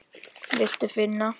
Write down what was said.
Viltu finna?